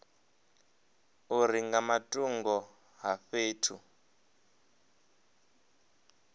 uri nga matungo a fhethu